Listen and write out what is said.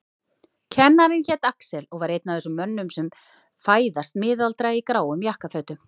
Kennarinn hét Axel og var einn af þessum mönnum sem fæðast miðaldra í gráum jakkafötum.